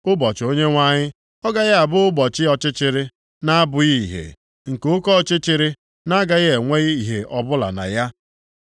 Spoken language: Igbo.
Ụbọchị Onyenwe anyị ọ gaghị abụ ụbọchị ọchịchịrị, na-abụghị ìhè, nke oke ọchịchịrị, a na-agaghị enwe ìhè ọbụla na ya?